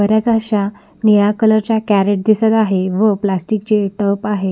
बरेच अश्या निळ्या कलर च्या कॅरट दिसत आहेत व प्लॅस्टिक चे तब आहेत.